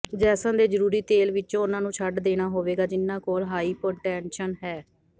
Jason ਦੇ ਜ਼ਰੂਰੀ ਤੇਲ ਵਿੱਚੋਂ ਉਨ੍ਹਾਂ ਨੂੰ ਛੱਡ ਦੇਣਾ ਹੋਵੇਗਾ ਜਿਨ੍ਹਾਂ ਕੋਲ ਹਾਈਪੋਟੈਂਟੇਸ਼ਨ ਹੈ